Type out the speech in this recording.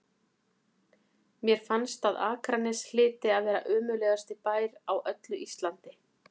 Mér fannst að Akranes hlyti að vera ömurlegasti bær á öllu Íslandi.